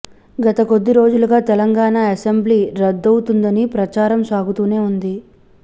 గత కొద్ది రోజులుగా తెలంగాణ అసెంబ్లీ రద్దవుతుందని ప్రచారం సాగుతూనే ఉంది